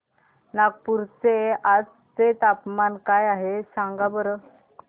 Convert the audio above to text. नागपूर चे आज चे तापमान काय आहे सांगा बरं